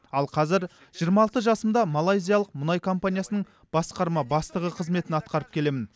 ал қазір жиырма алты жасымда малайзиялық мұнай компаниясының басқарма бастығы қызметін атқарып келемін